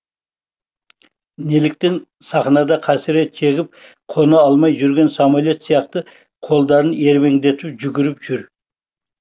неліктен сахнада қасірет шегіп қона алмай жүрген самолет сияқты қолдарын ербеңдетіп жүгіріп жүр